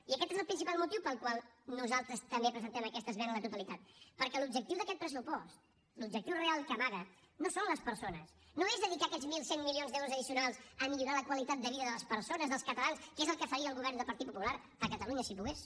i aquest és el principal motiu pel qual nosaltres també presentem aquesta esmena a la totalitat perquè l’objectiu d’aquest pressupost l’objectiu real que amaga no són les persones no és dedicar aquests mil cent milions d’euros addicionals a millorar la qualitat de vida de les persones dels catalans que és el que faria el govern del partit popular a catalunya si pogués